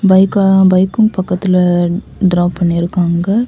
பைக்கும் பைக்கும் பக்கத்துல டிராப் பண்ணிருக்காங்க.